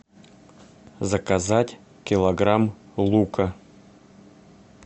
заказать килограмм лука